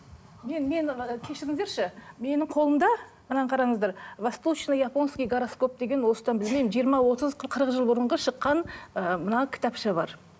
мен мен і кешіріңіздерші менің қолымда мына қараңыздар восточный японский гороскоп деген осыдан білмеймін жиырма отыз қырық жыл бұрынғы шыққан ыыы мына кітапша бар